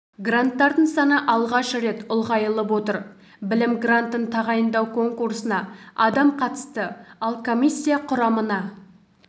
гранттардың саны алғаш рет ұлғайылып отыр білім грантын тағайындау конкурсына адам қатысты ал комиссия құрамына